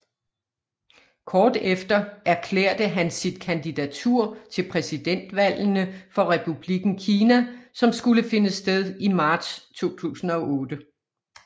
Kort efter erklærte han sit kandidatur til præsidentvalgene for Republikken Kina som skulle finde sted i marts 2008